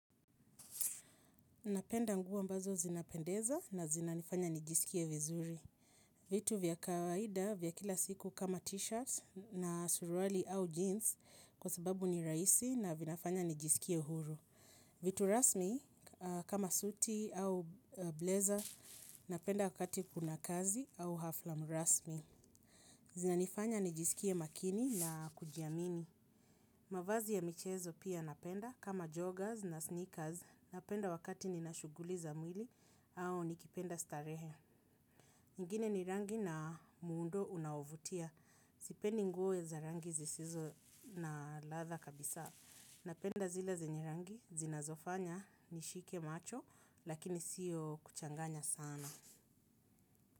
Napenda nguo ambazo zinapendeza na zinanifanya nijisikie vizuri. Vitu vya kawaida vya kila siku kama t-shirt na suruali au jeans kwa sababu ni rahisi na vinafanya nijisikie uhuru. Vitu rasmi kama suti au blazer napenda wakati kuna kazi au hafla rasmi. Zinanifanya nijisikie makini na kujiamini. Mavazi ya michezo pia napenda kama joggers na sneakers napenda wakati nina shuguli za mwili au nikipenda starehe. Ingine ni rangi na muundo unaovutia. Sipendi nguo za rangi zisizo na ladha kabisa napenda zile zenye rangi zinazofanya nishike macho lakini sio kuchanganya sana.